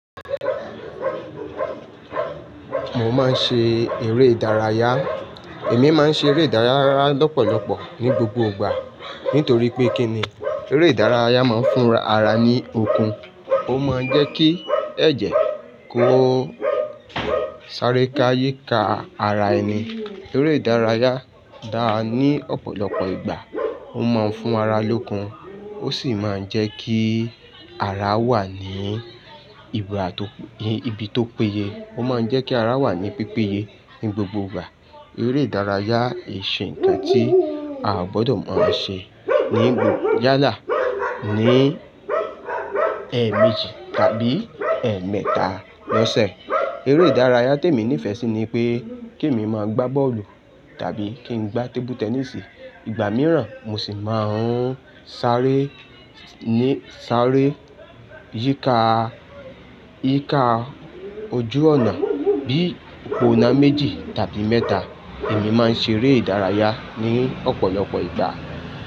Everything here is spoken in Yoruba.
Mo máa ń ṣe eré ìdárayá. Èmi máa ń ṣe eré ìdárayá lọ́pọ̀lọpọ̀ ní gbogbo ìgbà. Nítorí pé kí ni? Eré ìdárayá máa ń fún ara ní okun. Ó máa ń jẹ́ kí ẹ̀jẹ̀ kó sáré ká yíka ara ẹni. Eré ìdárayá dá ní ọ̀pọ̀lọpọ̀ ìgbà. Ó máa ń fún ara lókun. Ó sì máa ń jẹ́ kí ara wà ní ibi tó péye. Ó máa ń jẹ́ kí ara wà ní pípéye ní gbogbo ìgbà. Eré ìdárayá ì ṣe ǹkan tí a ò gbọ́dọ̀ máa ṣe ní gbogbo yálà. Ní ẹ́ẹ̀ méjì tàbí ẹ́ẹ̀ mẹ́ta lọ́sẹ̀. Eré ìdárayá tí èmi nífẹ̀ẹ́ sí ni pé kí èmi máa gbá bọ́ọ̀lù tàbí kí n gbá tébú tẹnísì. Ìgbà mìíràn mo sì máa ń sáré yíka ojú ọ̀nà. Bí òpó náà méjì tàbí mẹ́ta. Èmi máa ń ṣe eré ìdárayá ní ọ̀pọ̀lọpọ̀ ìgbà.